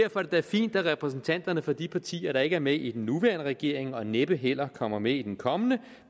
da fint at repræsentanterne for de partier der ikke er med i den nuværende regering og næppe heller kommer med i den kommende